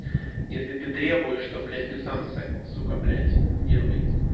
если ты требуешь что блять ты сам сука бляди делай